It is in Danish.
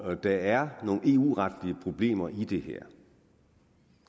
der er nogle eu retlige problemer i det her